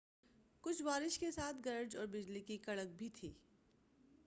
کچھ بارش کے ساتھ گرج اور بجلی کی کڑک بھی تھی